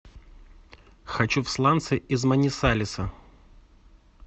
хочу в сланцы из манисалеса